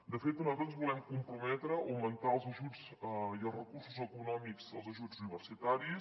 de fet nosaltres ens volem comprometre a augmentar els ajuts i els recursos eco·nòmics els ajuts universitaris